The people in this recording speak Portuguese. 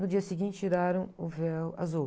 No dia seguinte, tiraram o véu azul.